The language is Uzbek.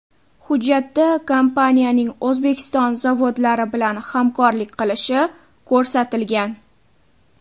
Hujjatda kompaniyaning O‘zbekiston zavodlari bilan hamkorlik qilishi ko‘rsatilgan.